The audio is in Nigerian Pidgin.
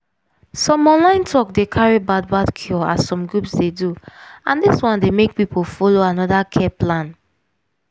some online talk dey carry bad bad cure as some groups dey do and dis one dey make people follow another care plan.